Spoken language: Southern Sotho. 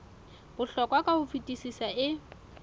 bohlokwa ka ho fetisisa e